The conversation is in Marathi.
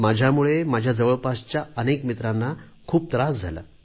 माझ्यामुळे माझ्या जवळपासच्या अनेक मित्रांना खूप त्रास झाला